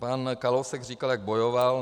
Pan Kalousek říkal, jak bojoval.